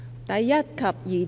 第1及2條。